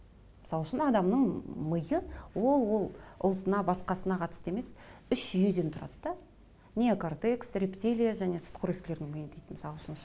мысал үшін адамның миы ол ол ұлтына басқасына қатысты емес үш жүйеден тұрады да неокартес рептилия және сүтқоректілердің миы дейді мысал үшін ше